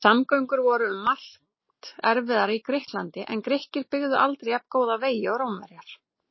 Samgöngur voru um margt erfiðar í Grikklandi en Grikkir byggðu aldrei jafngóða vegi og Rómverjar.